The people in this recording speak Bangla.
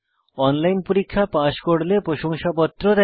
অনলাইন পরীক্ষা পাস করলে প্রশংসাপত্র দেয়